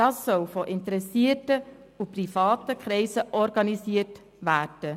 Das soll von interessierten und privaten Kreisen organisiert werden.